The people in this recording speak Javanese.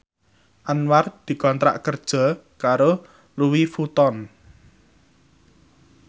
Anwar dikontrak kerja karo Louis Vuitton